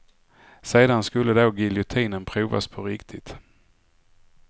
Sedan skulle då giljotinen provas på riktigt.